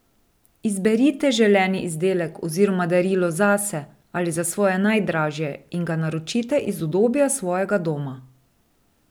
Izberite želeni izdelek oziroma darilo zase ali za svoje najdražje in ga naročite iz udobja svojega doma.